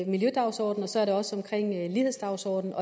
miljødagsordenen og så er det også omkring lighedsdagsordenen